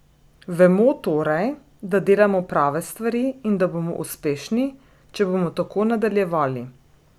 Vemo torej, da delamo prave stvari in da bomo uspešni, če bomo tako nadaljevali.